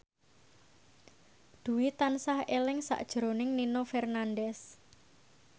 Dwi tansah eling sakjroning Nino Fernandez